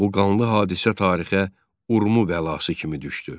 Bu qanlı hadisə tarixə Urmu bəlası kimi düşdü.